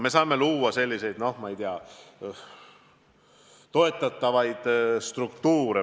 Me saame luua selliseid toetatavaid struktuure.